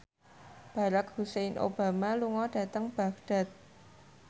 Barack Hussein Obama lunga dhateng Baghdad